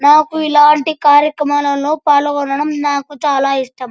నాకు ఇలాంటి కార్యక్రంలో పాలుగొనడం నాకు చాలా ఇష్టం.